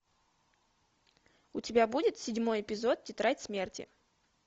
у тебя будет седьмой эпизод тетрадь смерти